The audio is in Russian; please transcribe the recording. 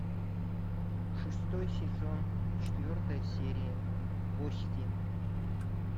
шестой сезон четвертая серия кости